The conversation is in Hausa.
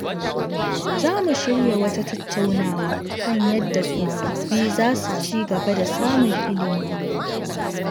Za mu shirya wata tattaunawa kan yadda tsofaffi za su ci gaba da samun ilimi.